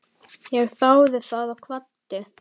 Ég þáði það og kvaddi.